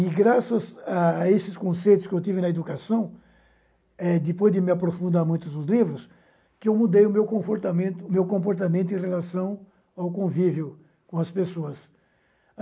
E graças a esses conceitos que eu tive na educação, eh depois de me aprofundar muito nos livros, eu mudei o meu comportamento meu comportamento em relação ao convívio com as pessoas.